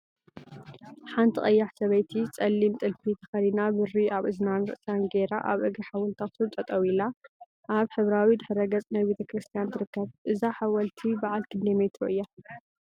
ሓንቲ ቀያሕ ሰበይቲ ፀሊም ጥልፊ ተከዲና ብሪ አብ እዝናን ርእሳን ገይራ አብ እግሪ ሓወልቲ አክሱም ጠጠው ኢላ እብ ሕብራዊ ድሕረ ገፅ ናይ ቤተ ክርስትያን ትርከብ፡፡ እዛ ሓወልቲ በዓል ክንደይ ሜትሮ እያ?